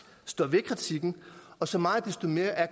står ved kritikken og så meget desto mere er